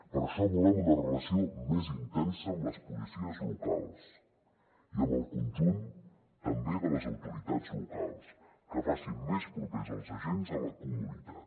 per això volem una relació més intensa amb les policies locals i amb el conjunt també de les autoritats locals que faci més propers els agents a la comunitat